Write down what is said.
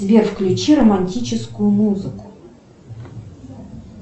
сбер включи романтическую музыку